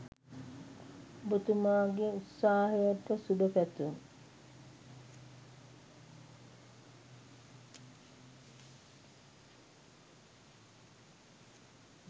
ඔබතුමාගේ උත්සාහයට සුභපැතුම්